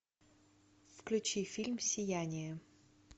включи фильм сияние